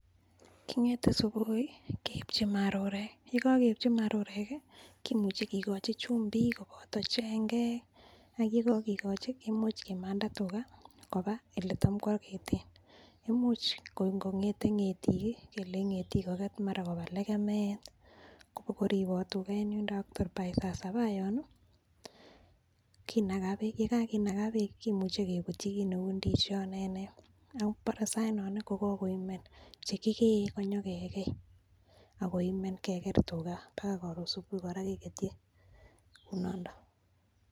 Kingete subui keipchi marurek, ye kogeipchi marurek kimuche kigochi chumbik koboto chengek, ak ye kogikochi kemuche kimanda tuga koba ele tam koageten. Imuch kor ingong'ete ng'etik kelenchi ng'etik koget mara koba legemet kobokoribot tuga en yundo ak tor by saa saba yon kinaga beek. Ye kaginaga beek kimuchi kebutyi kit neu ndisiot ne nee, ak mbore saainon kogoimen, che kigee konyokegei agoimen keger tuga baga koron subui kora kegetyii kounondo.